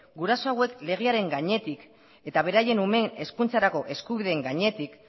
guraso hauek legearen gainetik eta beraien umeen hezkuntzarako eskubideen gainetik